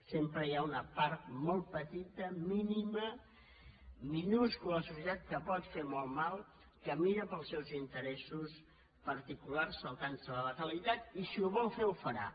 sempre hi ha una part molt petita mí·nima minúscula de la societat que pot fer molt mal que mira per als seus interessos particulars saltant·se la legalitat i si ho vol fer ho farà